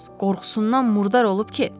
Qorxusundan murdar olub ki!